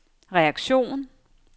reaktion